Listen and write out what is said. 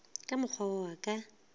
ka mokgwa wo a ka